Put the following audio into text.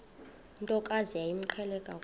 ntokazi yayimqhele kakhulu